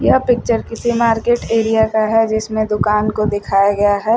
यह पिक्चर किसी market area का है जिसमें दुकान को दिखाया गया है।